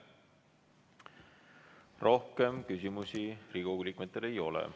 Rohkem küsimusi Riigikogu liikmetel ei ole.